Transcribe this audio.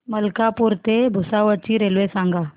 मलकापूर ते भुसावळ ची रेल्वे सांगा